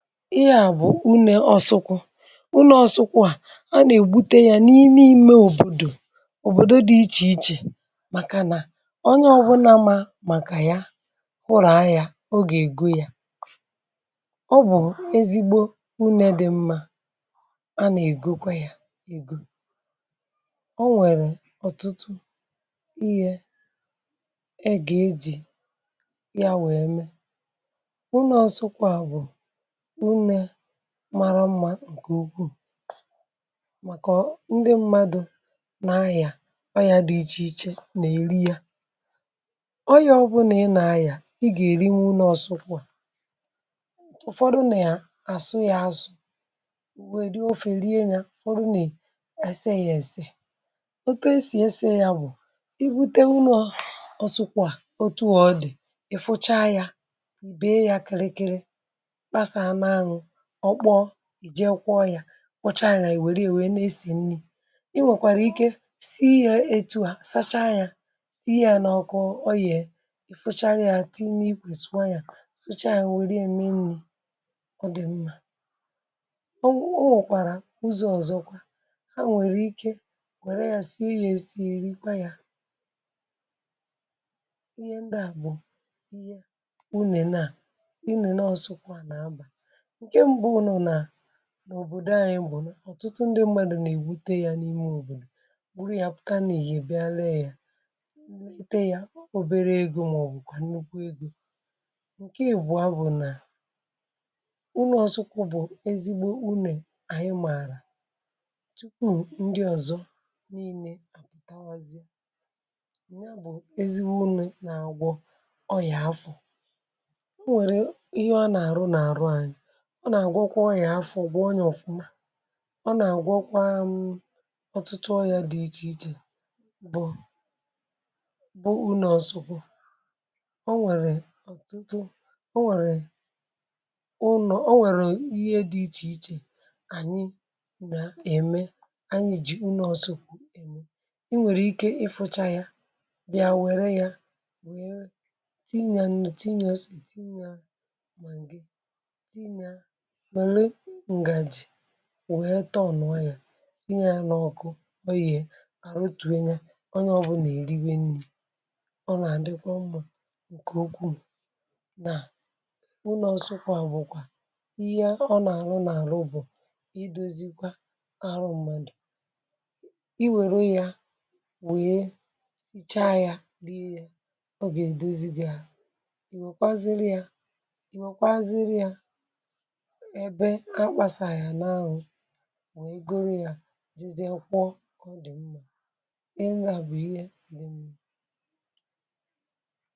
Ihe bụ unė ọsụkwụ, unė ọsụkwụ à a nà-ègbute ya n’ime ime òbòdò òbòdò dị ichè ichè màkà nà onye ọbụnȧ ma màkà ya hụrụ̀ yȧ ọ ga-ègo yȧ, ọ bụ̀ ezigbo unė dị̇ mmȧ a nà-ègokwa yȧ egȯ, o nwèrè ọ̀tụtụ ihė ẹ gà-ejì ya wẹèmẹ, unė ọsụkwụ̇ a bụ̀une maara mmȧ ǹkè ukwuù màkà ndị mmadụ̇ nà-ayà ayà dị ichè ichè nà-èri yȧ. Ọyịà ọbụnà ị nà-ayà ị gà-èri nwu̇ une ọsụkwụ̇. Ụfọdụ nà-àsụ yȧ azụ̇ ùwe èri ofè rie yȧ, ụfọdụ nà-èse yȧ èse, otu esì ese yȧ bụ̀ ibu̇te unė ọsụkwụ̇ à otu a ọdị̀ ì fụcha yȧ, be ya kịrịkịrị, kpasa na-àṅwụ, ọ kpọọ i jee kwọ ya, kwocha ya i were ya were na-esè nni, i nwekwara ike sie ya etu a sachaa ya sie ya na ọkụ ọ yè i fụchara ya tinye na-ikwe suo ya, sụcha ya were ya mé nni ọ dị mma. Ọ ọ wụkwara uzọ ọzọkwa ha nwere ike were ya sie ya esi erikwa ya ihe ndị a bụ ihe unene a unene ọsụkwụ a na-abà, ǹke mbu nù nà n’òbòdo anyị bụ̀ nà ọ̀tụtụ ndị mmadụ̀ nà-èbute yȧ n’ime òbòdò buru ya pụta nà-ìhè bịa lee ya, le te ya obere egȯ màọbụ̀ kwà nnukwu egȯ. Ǹke ìbụ̀o bụ̀ nà unè ọsụkwụ bụ̀ ezigbo unè anyị mààrà tupu ndị ọ̀zọ niine àpụ̀tawazie, ya bụ̀ ezigbo unè nà àgwọ ọrị̀à afọ̀. E nwèrè ihe ọ na-arụ nà-àrụ anyị ọ nà-àgwọkwa ọrịà afọ gwọ ya ọ̀fụma, ọ nà àgwọkwa m ọtụtụ ọrịa dị iche iche bụ bụ ụnọ̇ ọ̀sụkwu. ọ nwèrè ọ̀tụtụ o nwèrè ụnọ o nwèrè ihe dị ichè ichè ànyị nà-ème anyị jì unu ọ̀sụkwu ème, i nwèrè ike ịfụcha yȧ bịa wère yȧ wee ti ya nnu, ti ya ose, ti ya maagi ti ya wère ngàjì wèe tuọ̀nụ̀yà si nye yȧ n’ọkụ, ọ ye àrụtùe nya ọnye ọbụ̇nà èriwe nni̇. Ọ nà-àdịkwa mmȧ ǹkè ukwuu nà une ọsụkwa bụ̀kwà ihe ọ nà-arụ n’àrụ bụ̀ idozikwa arụ ṁmȧdụ̀, i wère yȧ wèe sicha yȧ, riė yȧ, ọ gà-èdozi gị̇ ȧhu, i nwèkwa ziri yȧ i nwèkwa ziri yȧ ebe a kpasà ya n’anwụ wèe goro ya jizie kwụọ kọ dị mma, ịhe ndị a bụ ihe dị mma.